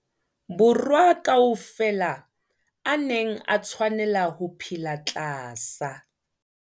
Borwa ka ofela a neng a tshwanela ho phela tlasa